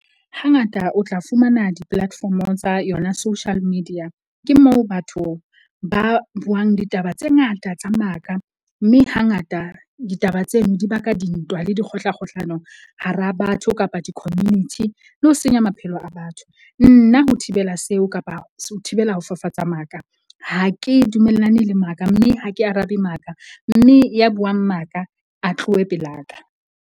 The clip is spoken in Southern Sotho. Hangata o tla fumana di-platform-o tsa yona social media, ke moo batho ba buang ditaba tse ngata tsa maka. Mme hangata ditaba tseno di baka dintwa le dikgohlakgohlano hara batho kapa di-community le ho senya maphelo a batho. Nna ho thibela seo kapa ho thibela ho fafatsa maka, ha ke dumellane le maka. Mme ha ke arabe maka mme ya buang maka a tlohe pelaka.